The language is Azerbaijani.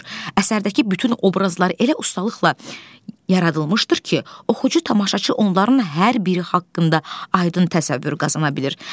Əsərdəki bütün obrazlar elə ustalıqla yaradılmışdır ki, oxucu tamaşaçı onların hər biri haqqında aydın təsəvvür qazana bilir.